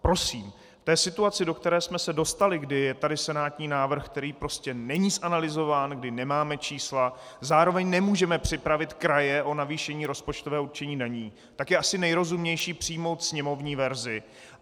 Prosím, k té situaci, do které jsme se dostali, kdy je tady senátní návrh, který prostě není zanalyzován, kdy nemáme čísla, zároveň nemůžeme připravit kraje o navýšení rozpočtového určení daní, tak je asi nejrozumnější přijmout sněmovní verzi.